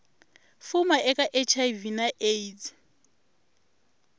fuma eka hiv na aids